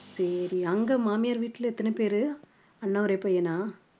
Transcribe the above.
சரி அங்க மாமியார் வீட்ல எத்தனை பேரு அண்ணா ஒரே பையனா